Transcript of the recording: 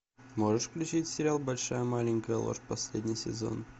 можешь включить сериал большая маленькая ложь последний сезон